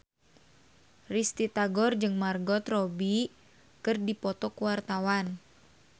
Risty Tagor jeung Margot Robbie keur dipoto ku wartawan